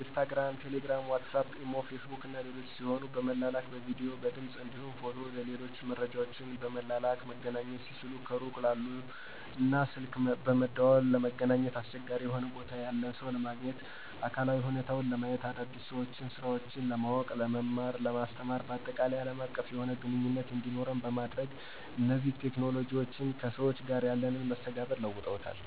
ኢንስታግራም፣ ቴሌግራም፣ ዋትስአፕ፣ ኢሞ፣ ፌስቡክ እና ሌሎችም ሲሆኑ ጽሁፍ በመላላክ፣ በቪዲዮ፣ በድምፅ እንዲሁም ፎቶ እና ሌሎች መረጃወችን በመላላክ መገናኘት ሲችሉ ከሩቅ ላሉ እና ስልክ በመደዋወል ለመገናኘት አስቸጋሪ የሆነ ቦታ ያለን ሰው ለማግኘት እና አካላዊ ሁኔታውን ለማየት፣ አዳዲስ ሰወችንና ስራወችን ለማውቅ፣ ለመማርና ለማስተማር ባጠቃላይ አለም አቀፍ የሆነ ግንኙነት እንዲኖር በማድረግ እነዚህ ቴክኖሎጅዎች ከሰዎች ጋር ያለንን መስተጋብር ለውጠዉታል።